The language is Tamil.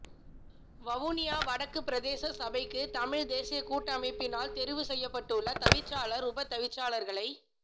வவுனியா வடக்கு பிரதேச சபைக்கு தமிழ் தேசியக்கூட்டமைப்பினால் தெரிவு செய்யப்பட்டுள்ள தவிசாளர் உப தவிசாளர்களை